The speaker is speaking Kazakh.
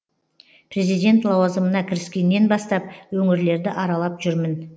президент лауазымына кіріскеннен бастап өңірлерді аралап жүрмін